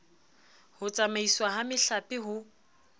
ho tsamaiswa ha mehlape ho